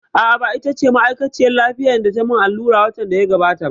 A'a, ba ita ba ce ma'aikaciyar lafiyar da tayi mun allura watan da ya gabata